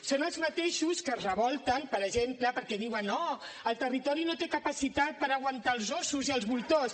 són els mateixos que es revolten per exemple perquè diuen oh el territori no té capacitat per aguantar els ossos i els voltors